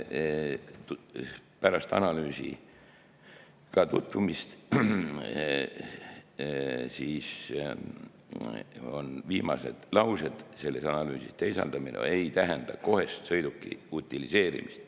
tutvus analüüsiga, selle viimastes lausetes on öeldud, et sõiduki teisaldamine ei tähenda kohest sõiduki utiliseerimist.